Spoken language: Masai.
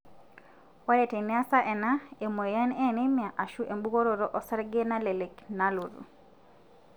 ore teniasa ena, emoyian enemia, ashu ebungoroto osarge nalelek nalotu.